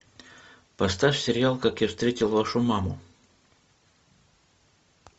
поставь сериал как я встретил вашу маму